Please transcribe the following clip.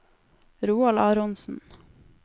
Roald Aronsen